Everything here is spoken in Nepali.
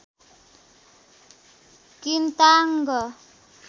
किन्ताङ्ग